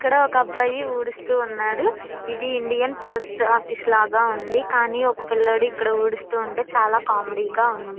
ఇక్కడ ఒక అబ్బాయి ఊడుస్తూ ఉన్నాడు. ఇది ఇండియన్ పోస్ట్ ఆఫీస్ లాగ ఉంది. కానీ ఒక పిల్లడు ఇక్కడ ఊడుస్తూ ఉంటె చాలా కామెడీ గా ఉంది.